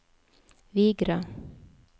Vigra